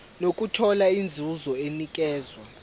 nokuthola inzuzo enikezwa